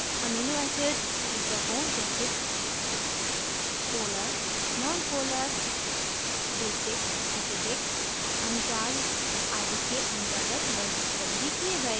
amino acids शीर्षकों जैसे polar nonpolar basic acidic uncharged आदि के अंतर्गत वर्गीकृत भी किये गए हैं